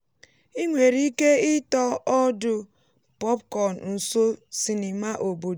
ị nwere ike ịtọ ọdụ popcorn nso sinima obodo.